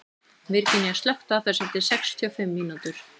Virginía, slökktu á þessu eftir sextíu og fimm mínútur.